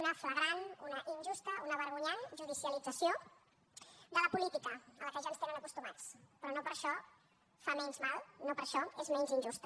una flagrant una injusta una vergonyant judicialització de la política a la qual ja ens tenen acostumats però no per això fa menys mal no per això és menys injusta